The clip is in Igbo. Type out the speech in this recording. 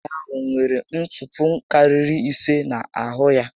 Nwaànyị ahụ nwetere ntupu karịrị ise n'ahụ ya